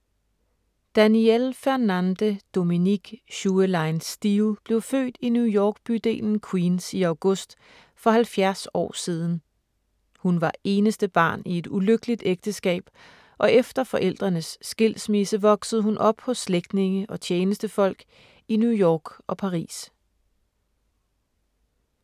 Danielle Fernande Dominique Schuelein-Steel blev født i New York-bydelen Queens i august for 70 år siden. Hun var eneste barn i et ulykkeligt ægteskab og efter forældrenes skilsmisse, voksede hun op hos slægtninge og tjenestefolk i New York og Paris.